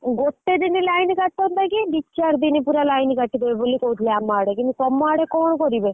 ଗୋଟେ ଦିନ line କଟନ୍ତା କି ଦି ଚାରି ଦିନ ପୁରା line କାଟିଦବ ବୋହି କହୁଥିଲେ ଆମ ଆଡେ କିନ୍ତୁ ତମ ଆଡେ କଣ କରିବେ?